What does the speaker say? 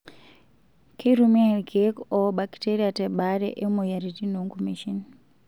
Keitumiyia ilkeek oor bakiteria tebaare oomoyiaritn oonkumeishin.